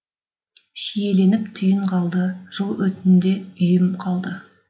шиеленіп түйін қалды жел өтінде үйім қалды